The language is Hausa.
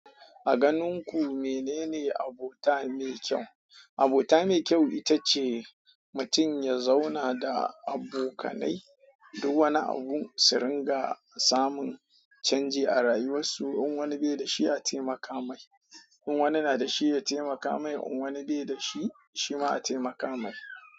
A ganin ku menene abota mai kyau? Abota me kyau itace mutum ya zauna da abokanai duk wani abu su ringa samun chanji a rayuwarsu in wani beda shi a temaka ma shi in wani nada shi yatemaka mai in wani nada shi yatemaka.